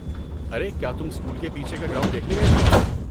ارے کیا تم سکول کے پیچھے کا گراؤنڈ دیکھنے گئے تھے؟